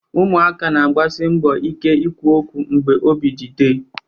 Ụmụaka na-agbasi mbọ ike ikwu okwu mgbe obi dị Dey